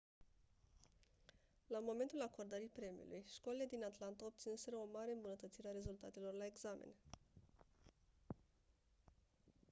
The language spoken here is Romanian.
la momentul acordării premiului școlile din atlanta obținuseră o mare îmbunătățire a rezultatelor la examene